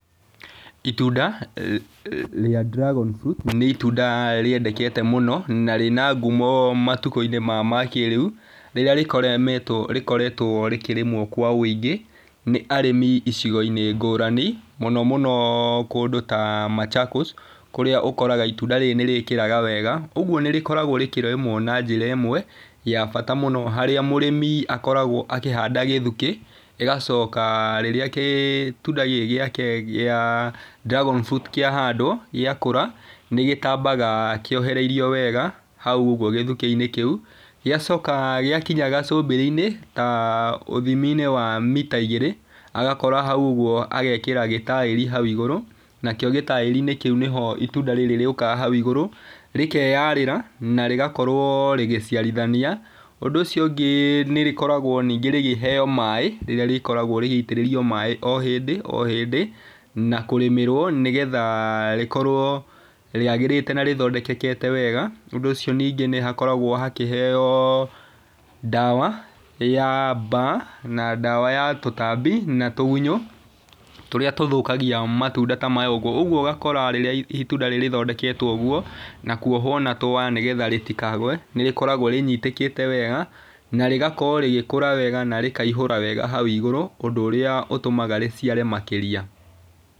Itunda rĩa dragon fruit nĩ itunda rĩendekete mũno na rĩna ngumo matukũ-inĩ maya makĩrĩu, rĩrĩa rĩkoretwo rĩkĩrĩmwo kwa ũingĩ nĩ arĩmi icigo-inĩ ngũrani mũno mũno kũndũ ta Machakos kũrĩa ũkoraga itunda rĩrĩ nĩ rĩkĩraga wega. Ũguo nĩ rĩkoragwo rĩkĩrĩmwo na njĩra ĩmwe ya bata mũno harĩa mũrĩmi akoragwo akĩhanda gĩthukĩ agacoka rĩrĩa gitunda gikĩ gĩake kĩa dgragon fruit kĩahandwo gĩakũra nĩ gtambaga kĩohereirio wega hauũguo gĩthukĩ-inĩ kĩu. Gĩacoka gĩakinya gacũmbĩrĩ-inĩ ta ũthimi-inĩ wa mita igĩrĩ agakora hau ũguo agekĩra gĩtaĩri hau igũrũ. Nakĩo gĩtaĩri-inĩ kĩu nĩho itunda rĩrĩ rĩũkaga hau igũrũ rĩkeyarĩra na rĩgakorwo rĩgĩciarithania. ũndũ ũcio ũngĩ nĩ rĩkoragwo ningĩ rĩkĩheo maaĩ nĩ rĩkoragwo rĩgĩitĩrĩrio maaĩ o hĩndĩ o hĩndĩ. Na kũrĩmĩrwo nĩ getha rĩkorwo rĩagĩrĩte na rĩthondekekete wega ũndũ ũcio ningĩ nĩ hakoragwo hakĩheo ndawa ya mbaa na ndawa ya tũtambi na tũgunyũ tũrĩa tũthũkagia matunda ta maya ũguo. ũguo ũgakora rĩrĩa itunda rĩri rĩthondeketwo ũguo na kuohwo na tũwaya nĩ getha rĩtikagwe nĩ rikoragwo rĩnyitíĩkĩte wega na rĩgakorwo rĩgĩkũra wega na rĩkaihũra wega hau igũrũ ũndũ ũrĩa rĩtũmaga rĩciare makĩria.